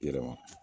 I yɛrɛ ma